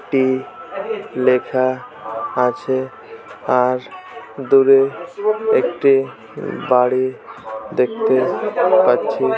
টি লেখা আছে আর দূরে একটি বাড়ি দেখতে পাচ্ছি।